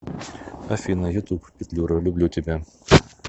афина ютуб петлюра люблю тебя